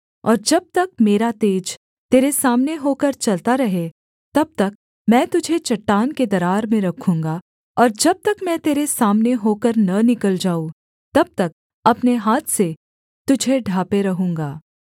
और जब तक मेरा तेज तेरे सामने होकर चलता रहे तब तक मैं तुझे चट्टान के दरार में रखूँगा और जब तक मैं तेरे सामने होकर न निकल जाऊँ तब तक अपने हाथ से तुझे ढाँपे रहूँगा